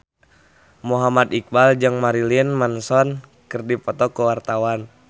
Muhammad Iqbal jeung Marilyn Manson keur dipoto ku wartawan